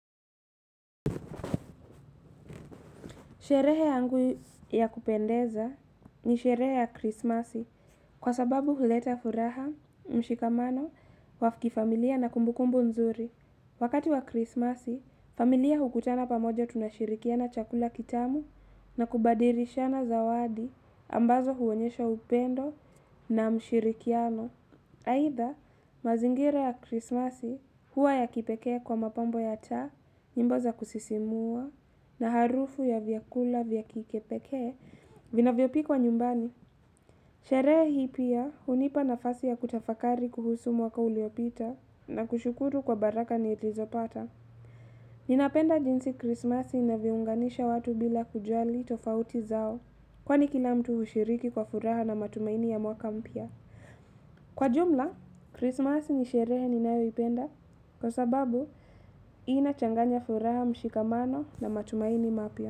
Sherehe yangu ya kupendeza ni sherehe ya krismasi kwa sababu huleta furaha mshikamano wa kifamilia na kumbukumbu nzuri. Wakati wa krismasi, familia hukutana pamoja tunashirikiana chakula kitamu na kubadilishana zawadi ambazo huonyesha upendo na ushirikiano. Aidha mazingira ya krismasi huwa ya kipekee kwa mapambo ya taa. Nyimbo za kusisimua na harufu ya vyakula vya kipekee vinavyopikwa nyumbani. Sherehe hii pia hunipa nafasi ya kutafakari kuhusu mwaka uliopita na kushukuru kwa baraka nilizopata. Ninapenda jinsi krismasi inavyounganisha watu bila kujali tofauti zao. Kwani kila mtu hushiriki kwa furaha na matumaini ya mwaka mpya. Kwa jumla, Christmas ni sherehe ninayoipenda kwa sababu inachanganya furaha mshikamano na matumaini mapya.